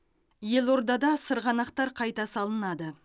елордада сырғанақтар қайда салынады